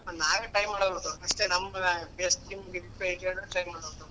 ನಾವೇ try ಮಾಡ್ಬೇಕು ಅಷ್ಟೇ ನಮ್ try ಮಾಡ್ಬೇಕು.